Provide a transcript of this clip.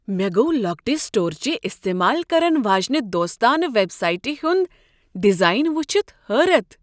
مےٚ گوٚو لوکٹِہ سٹورچہِ استعمال کرن واجنِہ دوستانہٕ ویب سایٹہ ہنٛد ڈیزائن ؤچھتھ حٲرت۔